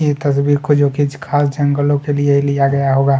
ये तस्वीर को जो कि ख़ास जंगलो के लिए लिया गया होगा।